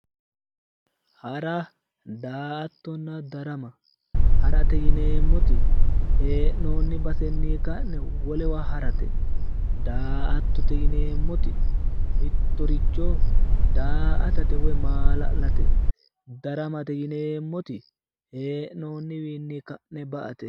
Hara, daa"attonna darama, harate yinneemmoti hee'nonni baseni ka'ne wolewa harate, daa"attote yinneemmoti mittoricho daa"attate woyi maala'late, daramate yinneemmoti hee'noniwinni kae ba"ate